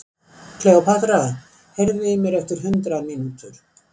Kleópatra, heyrðu í mér eftir hundrað mínútur.